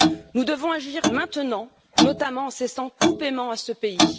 Nous devons agir maintenant, notamment en cessant tout paiement à ce pays.